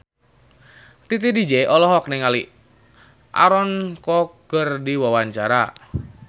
Titi DJ olohok ningali Aaron Kwok keur diwawancara